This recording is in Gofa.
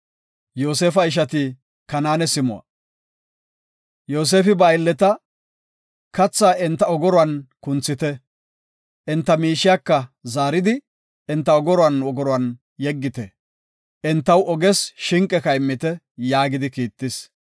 Yoosefi ba aylleta, “Katha enta ogoruwan kunthite; enta miishiyaka zaaridi, enta ogoruwan ogoruwan yeggite. Entaw oges shinqeka immite” yaagidi kiittis.